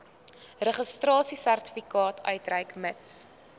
registrasiesertifikaat uitreik mits